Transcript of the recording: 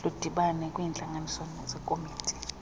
ludibane kwiintlanganiso zekomiti